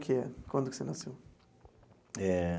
Quando que você nasceu? Eh.